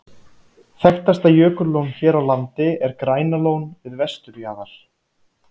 Þekktasta jökullón hér á landi er Grænalón við vesturjaðar